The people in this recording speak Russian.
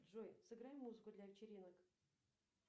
джой сыграй музыку для вечеринок